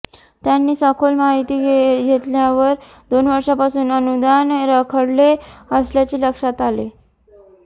त्यांनी सखोल माहिती घेतल्यावर दोन वर्षांपासून अनुदान रखडले असल्याचे लक्षात आले